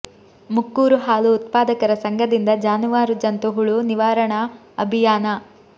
ಮುಕ್ಕೂರು ಹಾಲು ಉತ್ಪಾದಕರ ಸಂಘದಿಂದ ಜಾನುವಾರು ಜಂತು ಹುಳು ನಿವಾರಣಾ ಅಭಿಯಾನ